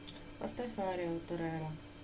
поставь арию тореро